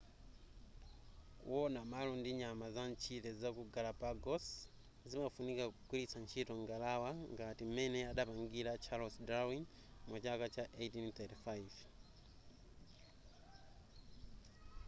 kuwona malo ndi nyama zamtchire zaku galapagos zimafunika kugwilitsa ntchito ngalawa ngati m'mene adapangira charles darwin mu chaka cha 1835